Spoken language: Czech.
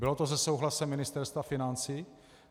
Bylo to se souhlasem Ministerstva financí?